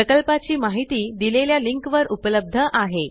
प्रकल्पाची माहिती दिलेल्या लिंकवर उपलब्ध आहे